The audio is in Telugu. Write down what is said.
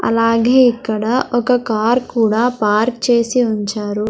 అలాగే ఇక్కడ ఒక కార్ కూడా పార్క్ చేసి ఉంచారు.